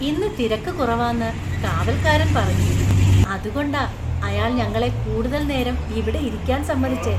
ഇന്ന് തിരക്ക് കുറവാന്ന് കാവൽക്കാരൻ പറഞ്ഞു. അതുകൊണ്ടാ അയാൾ ഞങ്ങളെ കൂടുതൽ നേരം ഇവിടെ ഇരിക്കാൻ സമ്മതിച്ചെ .